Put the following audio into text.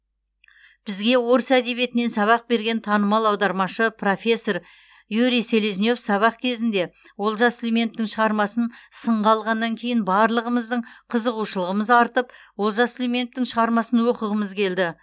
бізге орыс әдебиетінен сабақ берген танымал аудармашы профессор юрий селезнев сабақ кезінде олжас сүлейменовтің шығармасын сынға алғаннан кейін барлығымыздың қызығушылығымыз артып олжас сүлейменовтің шығармасын оқығымыз келді